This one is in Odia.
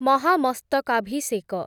ମହାମସ୍ତକାଭିଷେକ